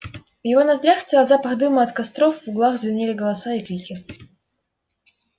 в его ноздрях стоял запах дыма от костров в углах звенели голоса и крики